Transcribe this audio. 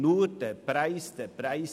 Nur der Preis zählt;